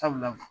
Sabula